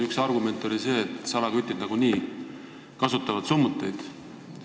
Üks argumente oli see, et salakütid nagunii summuteid kasutavad.